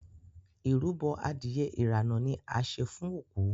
ìrúbo Adìyẹ irana ní a ṣe fún oku.